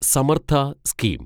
Samarth scheme